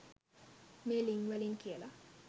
මේ ළිං වලින් කියලා